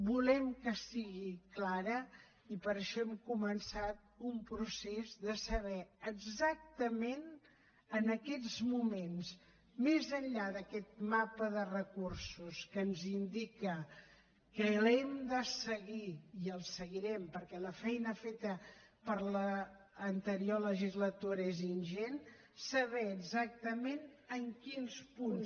volem que sigui clara i per això hem començat un procés de saber exactament en aquests moments més enllà d’aquest mapa de recursos que ens indica que l’hem de seguir i el seguirem perquè la feina feta per l’anterior legislatura és ingent saber exactament en quins punts